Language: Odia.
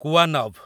କୁୱାନଭ୍